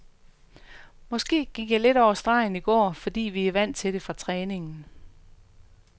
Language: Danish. Måske gik jeg lidt over stregen i dag, fordi vi er vant til det fra træningen.